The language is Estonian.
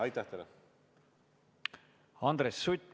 Andres Sutt, palun!